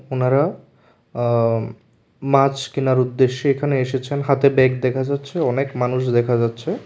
ওনারা মাছ কেনার উদ্দেশ্যে এখানে এসেছেন হাতে ব্যাগ দেখা যাচ্ছে অনেক মানুষ দেখা যাচ্ছে।